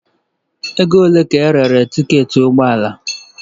Ego ole ka erere tiketi ụgbọ ala?